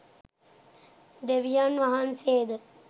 දෙවියන් වහන්සේද